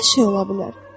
hər şey ola bilər.